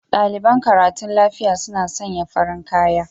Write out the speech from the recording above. Daliɓan karatun lafiƴa suna sanya farin kaƴa